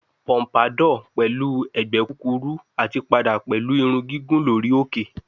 Pompadour pẹlu awọn ẹgbẹ kukuru ati pada pẹlu irun gigun lori oke